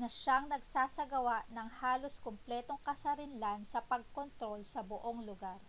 na siyang nagsasagawa ng halos kumpletong kasarinlan sa pagkontrol sa buong lugar